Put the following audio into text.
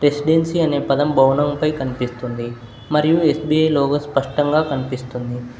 Residency అనే పదం బౌలంపై కనిపిస్తుంది మరియు ఎస్_బి_ఐ లోగో స్పష్టంగా కనిపిస్తుంది.